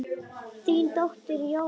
Þín dóttir, Jórunn.